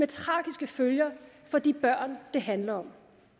tragiske følger for de børn det handler om